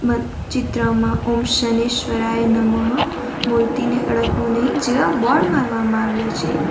અ ચિત્રમાં ઓમ શનેશ્વરાય નમઃ મૂર્તિને અડકવું નહીં જેવા બોર્ડ મારવામાં આવ્યા છે.